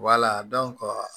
Wala